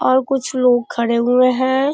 और कुछ लोग खड़े हुए हैं।